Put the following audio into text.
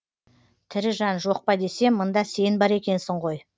тірі жан жоқпа десем мында сен бар екенсің ғой